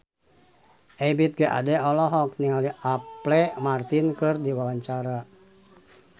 Ebith G. Ade olohok ningali Apple Martin keur diwawancara